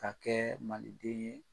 ka kɛ maliden ye.